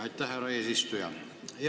Aitäh, härra eesistuja!